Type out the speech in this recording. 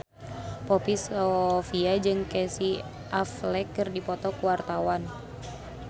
Poppy Sovia jeung Casey Affleck keur dipoto ku wartawan